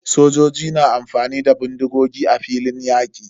Sojoji na amfani da bindigogi a filin yaƙi.